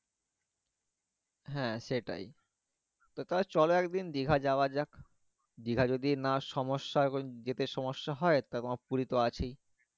হ্যাঁ সেটাই তো চলো একদিন দীঘা যাওয়া যাক দীঘা যদি না সমস্যা হয় যেতে সমস্যা হয় তখন পুরি তো আছেই